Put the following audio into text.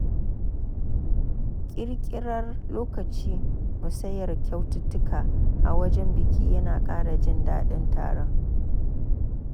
Ƙirƙirar lokacin musayar kyaututtuka a wajen biki yana ƙara jin daɗin taron.